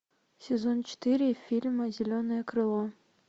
сезон четыре фильма зеленое крыло